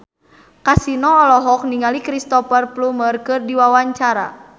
Kasino olohok ningali Cristhoper Plumer keur diwawancara